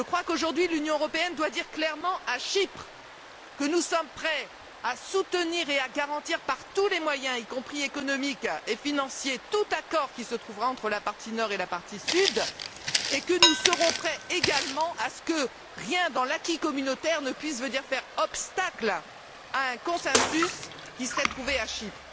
Aujourd'hui, l'Union européenne doit dire clairement à Chypre que nous sommes prêts à soutenir et à garantir par tous les moyens, y compris économiques et financiers, tout accord qui sera trouvé entre la partie nord et la partie sud, et que nous sommes également déterminés à ce que rien dans l'acquis communautaire ne puisse faire obstacle à un consensus qui serait trouvé à Chypre.